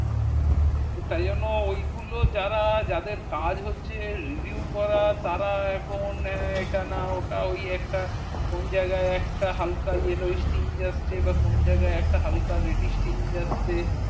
তো তাই জন্য ওই গুলো যারা যাদের কাজ হচ্ছে revew করা তার এখন হ্যা এটা না ওটা ওই একটা কোন জায়গায় হালকা একটা স্টিং যাচ্ছে বা কোন জায়গায় একটা হালকা এটি yellow স্টিং যাচ্ছে বা কোন জায়গায় একটা হালকা রেটি স্টিং যাচ্ছে